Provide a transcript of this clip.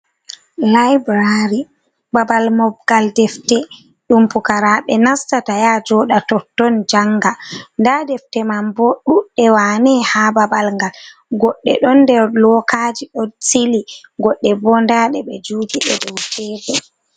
Laibrari, babal mobgal defte ɗum pukaraɓe nastata ya jooɗa totton, janga. Nda defte man bo duɗɗe wane ha babal ngal. Goɗɗe don der lookaji ɗo sili , goɗɗe bo nda ɗe ɓe juugi ɗe dou tebur.